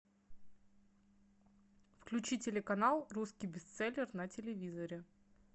включи телеканал русский бестселлер на телевизоре